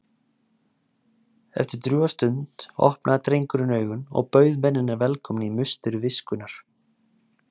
Eftir drjúga stund opnaði drengurinn augun og bauð mennina velkomna í musteri viskunnar.